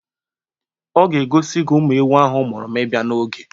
Ọ ga-egosi gi ụmụ ewu ahụ mụrụ ma ị bịa n'oge